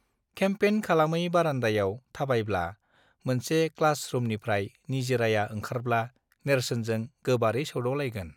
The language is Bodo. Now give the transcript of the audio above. खेम्पेन खालामै बारान्दायाव थाबायब्ला मोनसे क्लास रूमानिफ्राय निजिराया ओंखारब्ला नेर्सोनजों गोबारै सौदाव लायगोन